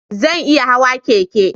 Zan iya hawa keke?